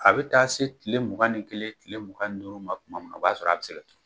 A bɛ taa se tile mugan ni kelen, tile mugan ni duuru ma tuma min na, a b'a sɔrɔ a bɛ se